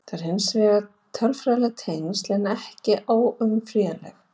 Þetta eru hins vegar tölfræðileg tengsl en ekki óumflýjanleg.